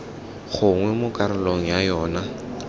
gongwe mo karolong ya yona